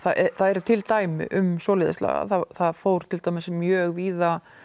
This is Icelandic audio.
það eru til dæmi um svoleiðis lagað það fór til dæmis mjög víða